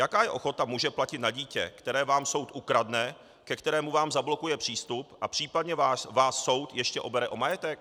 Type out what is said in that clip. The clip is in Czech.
Jaká je ochota muže platit na dítě, které vám soud ukradne, ke kterému vám zablokuje přístup a případně vás soud ještě obere o majetek?